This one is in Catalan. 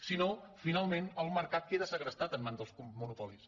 si no finalment el mercat queda segrestat en mans dels monopolis